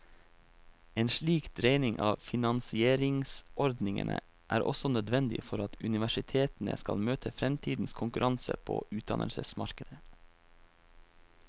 En slik dreining av finansieringsordningene er også nødvendig for at universitetene skal møte fremtidens konkurranse på utdannelsesmarkedet.